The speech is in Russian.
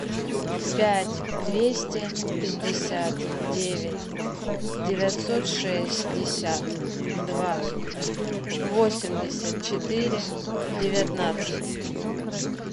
пять двести пятьдесят девять девятьсот шестьдесят два восемьдесят четыре девятнадцать